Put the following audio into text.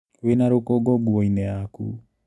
Wĩna rũkũngũ nguoinĩ yaku.